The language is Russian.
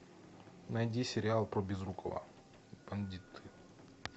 найди сериал про безрукова бандиты